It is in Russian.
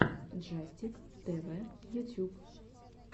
джастик тэвэ ютюб